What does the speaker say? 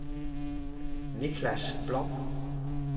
Niklas Blom